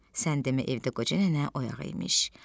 Sən demə evdə qoca nənə oyaq imiş.